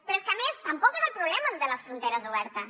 però és que a més tampoc és el problema el de les fronteres obertes